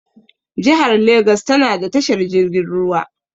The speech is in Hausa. Jihar legas tana da tashar jirgin ruwa.